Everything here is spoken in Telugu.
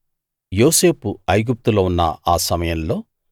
యోసేపు ఐగుప్తులో ఉన్న ఆ సమయంలో